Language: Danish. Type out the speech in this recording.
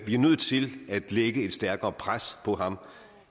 er nødt til at lægge et stærkere pres på ham